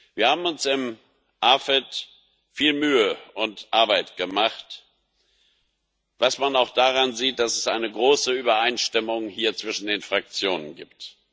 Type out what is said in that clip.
Wir haben uns im AFET Ausschuss viel Mühe und Arbeit gemacht, was man auch daran sieht, dass es hier eine große Übereinstimmung zwischen den Fraktionen gibt.